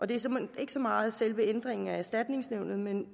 det er såmænd ikke så meget ændringen af erstatningsnævnet men